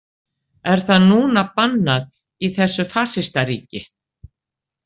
Er það núna bannað í þessu fasistaríki?